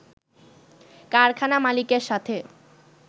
কারখানা মালিকের সাথে